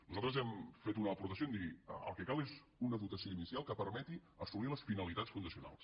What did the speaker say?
nosaltres hem fet una aportació en dir el que cal és una dotació ini·cial que permeti assolir les finalitats fundacionals